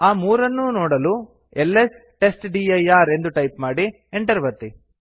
ಆ ಮೂರನ್ನು ನೋಡಲು ಎಲ್ಎಸ್ ಟೆಸ್ಟ್ಡಿರ್ ಎಂದು ಟೈಪ್ ಮಾಡಿ enter ಒತ್ತಿ